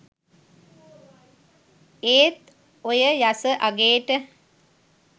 ඒත් ඔය යස අගේට